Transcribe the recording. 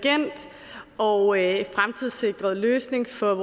og fremtidssikret løsning for